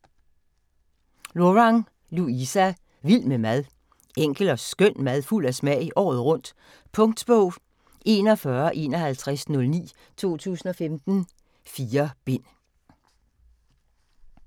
Lorang, Louisa: Vild med mad Enkel og skøn mad fuld af smag – året rundt. Punktbog 415109 2015. 4 bind.